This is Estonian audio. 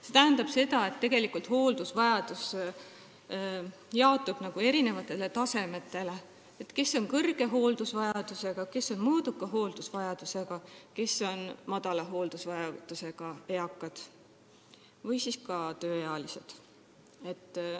See tähendab seda, et hooldusvajadus jaotub erinevatele tasemetele: kõrge hooldusvajadusega, mõõduka hooldusvajadusega ja madala hooldusvajadusega eakad või tööealised.